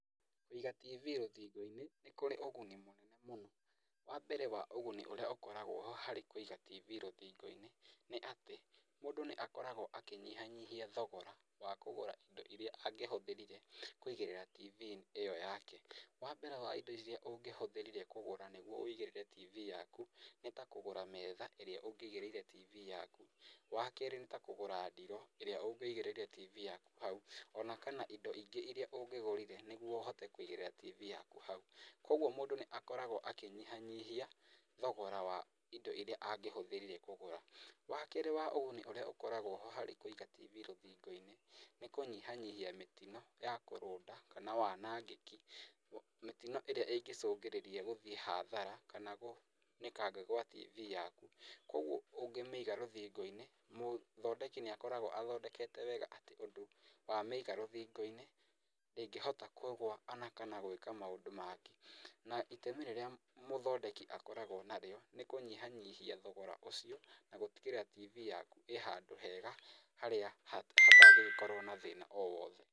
Kũiga tibi rũthingo-in,ĩ nĩ kũrĩ ũguni mũnene mũno. Wa mbere wa ũguni ũrĩa ũkoragwo harĩ wa kũiga tibii rũthingo-inĩ nĩ atĩ mũndũ nĩ akoragwo akĩnyihanyihia thogora wa kũgũra indo iria angĩhũthĩrire kũigĩrĩra tibii ĩyo yake. Wa mbere wa indo iria ũngĩhũthĩrire kũgũra nĩguo ũigĩrĩre tibii yaku nĩ ta kũgũra metha ĩrĩa ũngĩigĩrĩire tibii yaku, wa kerĩ nĩ ta kũgũra ndiroo ĩrĩa ũngĩigĩrĩire tibii yaku hau, ona kana indo ingĩ iria ũngĩgũrire nĩguo ũhote kũigĩrĩra tibii yaku hau. Kuũguo mũndũ nĩ akoragwo akĩnyihanyihia thogora wa indo iria angĩhũthĩrire kũgũra. Wa keerĩ wa ũguni ũrĩa ũkoragwo ho harĩ kũiga tibii rũthingo-inĩ, nĩ kũnyihanyihia mĩtino ya kũrũnda kana wanangĩki mĩtino ĩrĩa ĩngĩcũngĩrĩria gũthiĩ hathara kana kũnĩkanga gwa tibii yaku, kuũguo ũngĩmĩiga rũthingio-inĩ mũthondeki nĩ akoragwo athondekete wega atĩ aũndũ wamĩiga rũthingo-inĩ ndĩngĩhota kũgũa ona kana gwĩka maũndũ mangĩ. Na itemi rĩrĩa mũthondeki akoragwo narĩo nĩ kũnyihanyihia thogora ũcio na gũtigĩrĩra atĩ tibii yaku ĩ handũ hega harĩ ĩtangĩkorwo na thĩna o wothe.